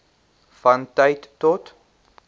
van tyd tot